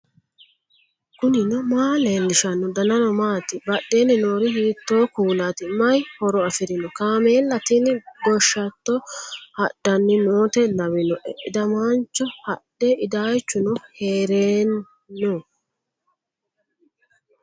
knuni maa leellishanno ? danano maati ? badheenni noori hiitto kuulaati ? mayi horo afirino ? kaameella tini goshshatto haddhanni noote lawinoe iddamaancho hadhe iddaychuno heeranno